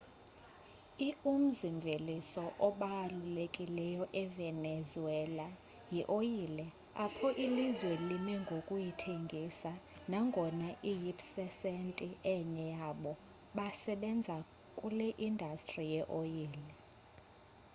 i umzi-mveliso obalulekileyo e-venezuela yi oyile apho ilizwe limengokuyithengisa nangonga iyipsesenti enye yabo basebenza kule indastri ye oyile